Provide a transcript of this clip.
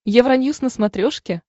евроньюс на смотрешке